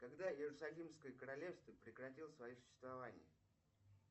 когда иерусалимское королевство прекратило свое существование